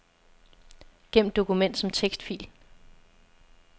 Gem dokument som tekstfil.